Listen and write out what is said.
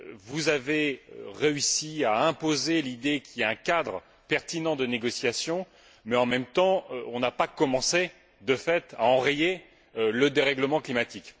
Vous avez réussi à imposer l'idée qu'il y ait un cadre pertinent de négociations mais, en revanche, on n'a pas commencé de fait à enrayer le dérèglement climatique.